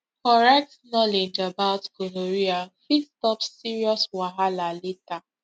correct knowledge about gonorrhea fit stop serious wahala later